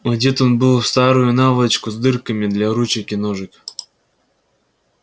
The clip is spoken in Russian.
одет он был в старую наволочку с дырками для ручек и ножек